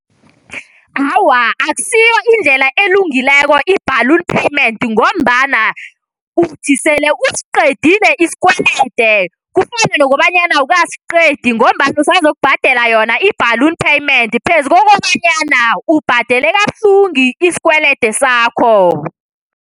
Awa, akusiyo indlela elungileko i-balloon payment ngombana uthi sele usiqedile isikwelede kufane nokobana awukasiqedi ngombana usazokubhadela yona i-balloon payment phezu kokobanyana ubhadele kabuhlungu isikwelede sakho.